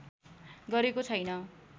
गरेको छैन